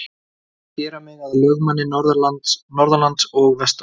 Þeir vilja gera mig að lögmanni norðanlands og vestan.